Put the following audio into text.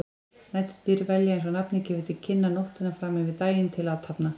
Næturdýr velja, eins og nafnið gefur til kynna, nóttina fram yfir daginn til athafna.